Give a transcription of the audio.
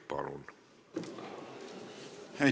Palun!